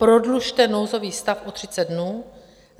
Prodlužte nouzový stav o 30 dnů.